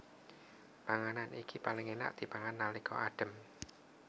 Panganan iki paling enak dipangan nalika adhem